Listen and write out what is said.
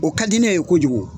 O ka di ne ye kojugu